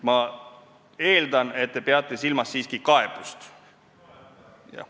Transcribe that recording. Ma eeldan, et te peate silmas siiski kaebust.